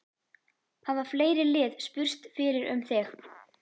Hafa fleiri lið spurst fyrir um þig?